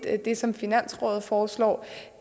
at det som finansrådet foreslår